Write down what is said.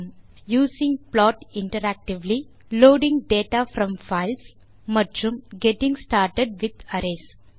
using plot interactively loading data from files மற்றும் getting started with arrays